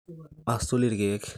asul ilkiek